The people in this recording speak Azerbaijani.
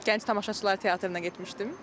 Gənc tamaşaçılar teatrına getmişdim.